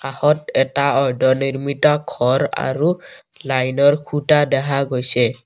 হদ এটা অৰ্ধনিৰ্মিত ঘৰ আৰু লাইন ৰ খুঁটা দেখা গৈছে।